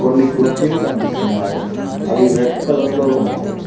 కొన్ని కుర్చీలు కనిపిస్తున్నాయి అవి రెడ్ కలర్ లో ఉన్నాయి.